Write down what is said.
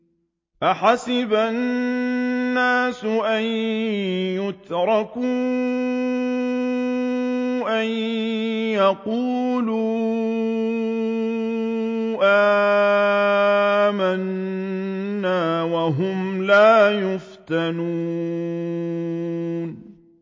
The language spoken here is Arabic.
أَحَسِبَ النَّاسُ أَن يُتْرَكُوا أَن يَقُولُوا آمَنَّا وَهُمْ لَا يُفْتَنُونَ